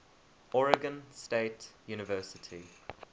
oregon state university